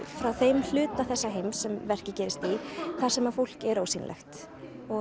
frá þeim hluta þessa heims sem verkið gerist í þar sem fólk er ósýnilegt